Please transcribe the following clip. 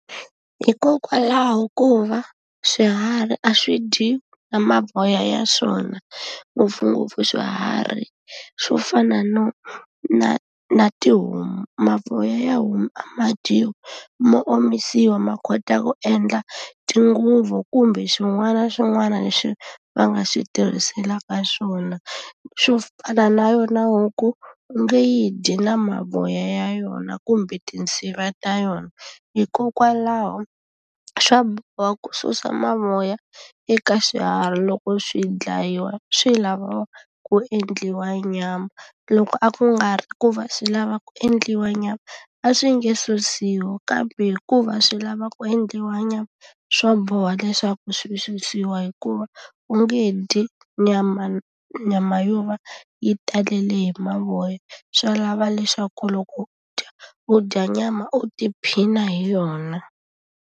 Hikokwalaho ko va swiharhi a swi dyiwi na mavoya ya swona, ngopfungopfu swiharhi swo fana no na na tihomu. Mavoya ya homu a ma dyiwi mo omisiwa ma kota ku endla tinguvu kumbe swin'wana na swin'wana leswi va nga swi tirhiselaka swona. Swo fana na yona huku, u nge yi dyi na mavoya ya yona, kumbe tinsiva ta yona. Hikokwalaho swa boha ku susa mavoya eka swiharhi loko swi dlayiwa, swi lava ku endliwa nyama. Loko a ku nga ri ku va swi lava ku endliwa nyama, a swi nge susiwi kambe hikuva swi lava ku endliwa nyama, swa boha leswaku swi susiwa hikuva u nge dyi nyama nyama yo va yi talele hi mavoya. Swi lava leswaku loko u dya, u dya nyama u tiphina hi yona.